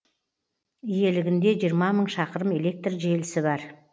иелігінде жиырма мың шақырым электр желісі бар